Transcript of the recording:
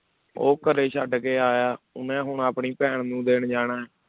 ਉਹ ਘਰੇ ਛੱਡ ਕੇ ਆਇਆ ਉਹਨੇ ਹੁਣ ਆਪਣੀ ਭੈਣ ਨੂੰ ਦੇਣ ਜਾਣਾ ਹੈ।